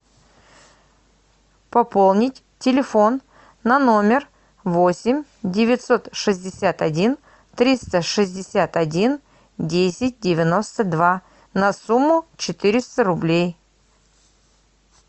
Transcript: пополнить телефон на номер восемь девятьсот шестьдесят один триста шестьдесят один десять девяносто два на сумму четыреста рублей